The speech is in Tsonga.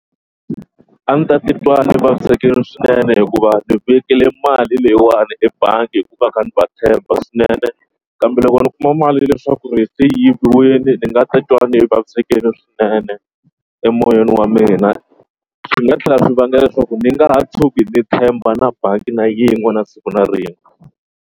A ni ta titwa ni vavisekile swinene hikuva ni vekile mali leyiwani ebangi hikuva kha ni va tshemba swinene kambe loko ni kuma mali leswaku ri se yiviwile ni nga titwa ni vavisekile swinene emoyeni wa mina. Swi nga tlhela swi vanga leswaku ni nga ha tshuki ni tshemba na bangi na yin'we na siku na rin'we.